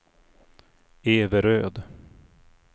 Everöd